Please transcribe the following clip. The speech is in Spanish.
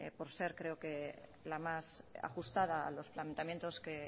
por ser creo que la más ajustada a los planteamientos que